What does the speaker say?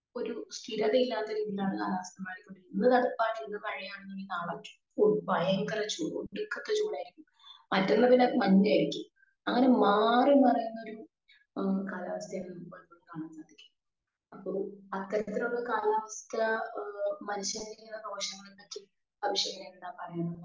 speaker 2